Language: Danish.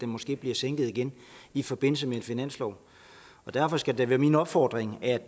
måske bliver sænket i i forbindelse med en finanslov derfor skal det være min opfordring at